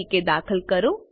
તરીકે દાખલ કરો